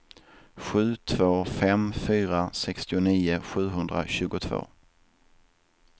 sju två fem fyra sextionio sjuhundratjugotvå